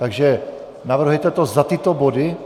Takže navrhujete to za tyto body?